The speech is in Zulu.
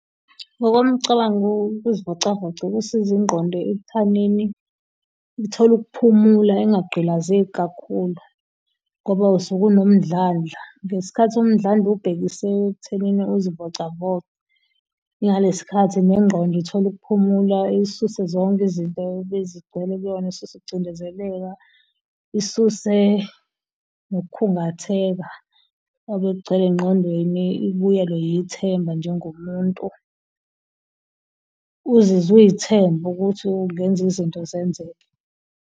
Ngomcabango, ukuzivocavoca kusizi ingqondo ekuthanini ithole ukuphumula ingagqilazeki kakhulu ngoba usuke unomndlandla. Ngesikhathi umndlandla uwubhekise ekuthenini uzivocavoce ingaleskhathi nengqondo ithola ukuphumula isuse zonke izinto ebezigcwele kuyona. Isuse ukucindezeleka, isuse nokukhungatheka obekugcwele engqondweni ibuyelwe yithemba njengomuntu uzizwe uy'thembe ukuthi ungenzi izinto zenzeke.